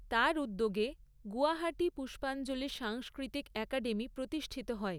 তার উদ্যোগে গুয়াহাটি পুষ্পাঞ্জলি সাংস্কৃতিক একাডেমি প্রতিষ্ঠিত হয়।